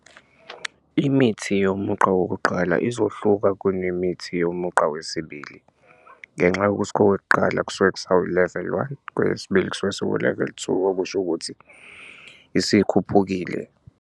Imithi yomugqa wokuqala izohluka kunemithi yomugqa wesibili ngenxa yokuthi kowokuqala kusuke kusawu-level one kweyesibili kusuke sikuwu-level two okusho ukuthi isikhuphukile.